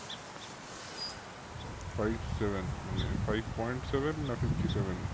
Five seven মানে five point seven না fifty-seven